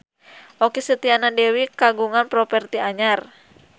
Okky Setiana Dewi kagungan properti anyar